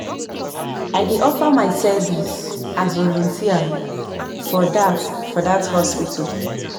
I dey offer my service as volunteer for dat for dat hospital.